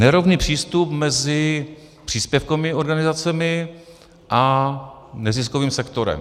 Nerovný přístup mezi příspěvkovými organizacemi a neziskovým sektorem.